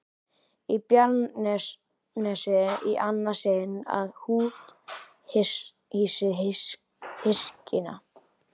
Í Bjarnanes í annað sinn að úthýsa hyskinu.